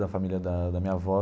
Da família da da minha avó.